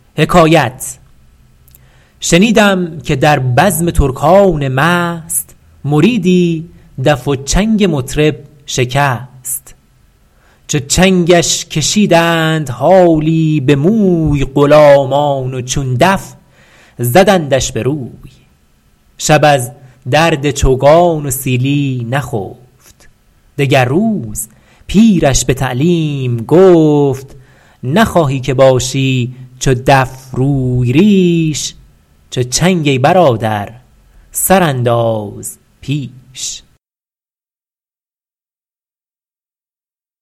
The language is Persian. شنیدم که در بزم ترکان مست مریدی دف و چنگ مطرب شکست چو چنگش کشیدند حالی به موی غلامان و چون دف زدندش به روی شب از درد چوگان و سیلی نخفت دگر روز پیرش به تعلیم گفت نخواهی که باشی چو دف روی ریش چو چنگ ای برادر سر انداز پیش